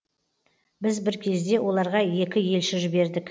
біз бір кезде оларға екі елші жібердік